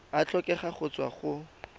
a tlhokega go tswa go